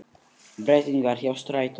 Breytingar hjá strætó